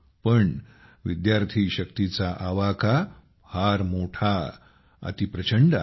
पण विद्यार्थी शक्तीचा आवाका फार मोठा अति प्रचंड आहे